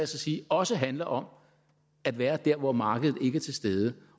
så sige også handler om at være der hvor markedet ikke er til stede